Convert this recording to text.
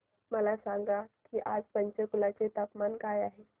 मला सांगा की आज पंचकुला चे तापमान काय आहे